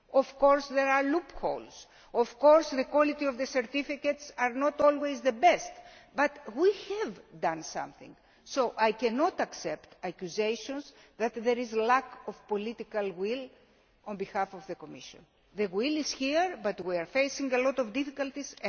Of course there are loopholes of course the quality of the certificates is not always of the best. But we have done something, so I cannot accept accusations that there is lack of political will on the part of the Commission. The will is there, but we are facing a lot of difficulties.